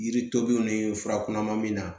Yiri tobiw ni fura kunnama min na